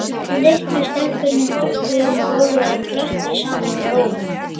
Litlu stelpurnar hoppuðu um gólfið og klöppuðu saman lófunum.